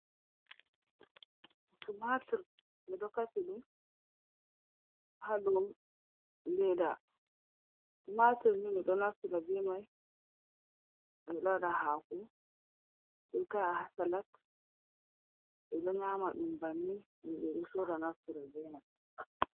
Tumatur, ɓe ɗo kasi ha dou leda. Tumatur ni ɓe ɗo naftira be mai, ɓe ɗo waɗa haako, ɓe ta'a haa salat, ɓe ɗo nyama ɗum banni. Himɓe ɗo sora naftira be mai.